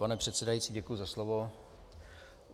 Pane předsedající, děkuji za slovo.